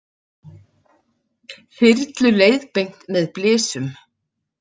Þyrlu leiðbeint með blysum